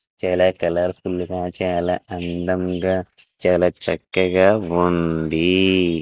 చాలా colourful గా చాలా అందంగా చాలా చక్కగా ఉంది.